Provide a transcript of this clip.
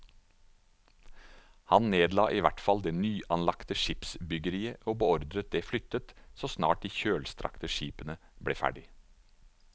Han nedla i hvert fall det nyanlagte skipsbyggeriet og beordret det flyttet så snart de kjølstrakte skipene ble ferdige.